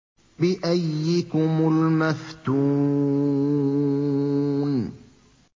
بِأَييِّكُمُ الْمَفْتُونُ